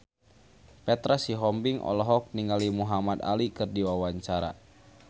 Petra Sihombing olohok ningali Muhamad Ali keur diwawancara